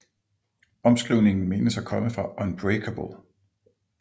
Omskrivningen menes at komme fra UNBREAKABLE